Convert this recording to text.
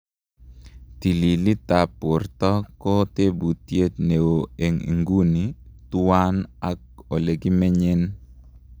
Tililitap porta ko teputiet neo en iguni tuwang ak elekimenyen